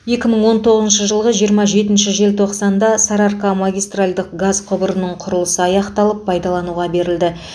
екі мың он тоғызыншы жылғы жиырма жетінші желтоқсанда сарыарқа магистральдық газ құбырының құрылысы аяқталып пайдалануға берілді